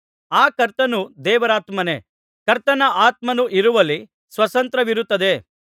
ಆ ಕರ್ತನು ದೇವರಾತ್ಮನೇ ಕರ್ತನ ಆತ್ಮನು ಇರುವಲ್ಲಿ ಸ್ವಾತಂತ್ರ್ಯವಿರುತ್ತದೆ